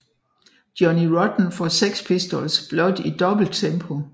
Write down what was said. Johnny Rotten fra Sex Pistols blot i dobbelt tempo